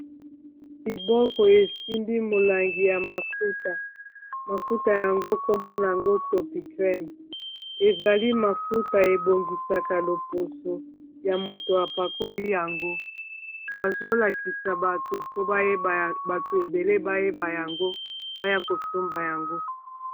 Liboko esimbi molangi ya mafuta, mafuta yango nkombo nango Topicrem ezali mafuta ebongisaka loposo ya moto apakoli yango bazolakisa bato mpo bayeba bato ebele bayeba yango mpo baya kosomba yango.